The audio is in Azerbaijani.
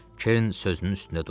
Kerin sözünün üstündə durmuşdu.